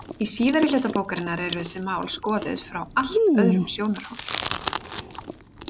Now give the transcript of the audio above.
Í síðari hluta bókarinnar eru þessi mál skoðuð frá allt öðrum sjónarhóli.